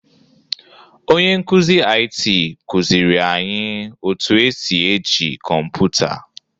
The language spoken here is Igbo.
Onye nkụzi IT kụziri anyị otu e si eji kọmpụta.